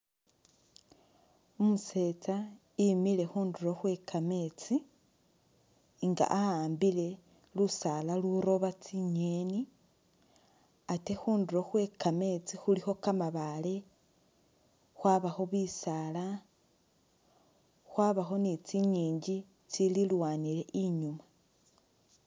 Umusetsa i'mile khundulo khwekametsi nga awambile lusaala lulooba tsi'ngeni ate khundulo khwekametsi khulikho kamabaale khwabakho bisaala khwabakho ni tsingingi tsililwanile i'nyuma